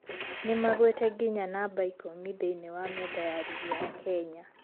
Nĩmagwĩte nginya namba ikũmi thĩine wa metha ya rigi ya Kenya